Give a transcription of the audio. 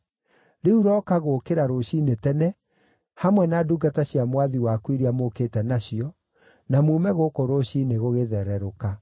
Rĩu rooka gũũkĩra rũciinĩ tene, hamwe na ndungata cia mwathi waku iria mũũkĩte nacio, na muume gũkũ rũciinĩ gũgĩthererũka.”